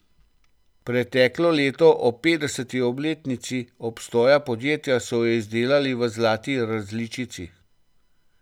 Preteklo leto ob petdeseti obletnici obstoja podjetja so jo izdelali v zlati različici.